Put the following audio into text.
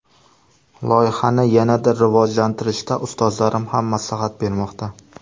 Loyihani yanada rivojlantirishda ustozlarim ham maslahat bermoqda.